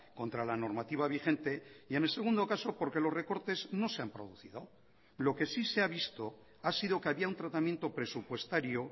contra la normativa vigente y en el segundo caso porque los recortes no se han producido lo que sí se ha visto ha sido que había un tratamiento presupuestario